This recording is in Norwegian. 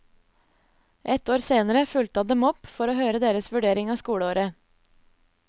Ett år senere fulgte han dem opp for å høre deres vurdering av skoleåret.